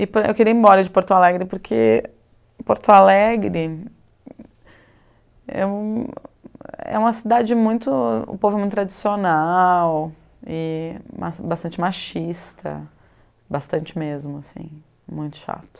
E eu queria ir embora de Porto Alegre, porque Porto Alegre é é uma cidade muito... O povo é muito tradicional e bastante machista, bastante mesmo, muito chato.